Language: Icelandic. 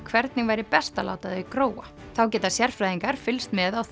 hvernig væri best að láta það gróa þá geta sérfræðingar fylgst með á